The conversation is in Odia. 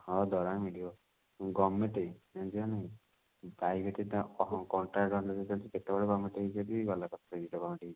ହଁ ବା ଦରମା ମିଳିବ government ଜାଣିଛୁ ନା ନାହିଁ private ତ contract ଅନୁଯାଇ ଚାଲିଛି କେତେବେଳେ government ହେଇଯିବ ଯଦି ଗଲା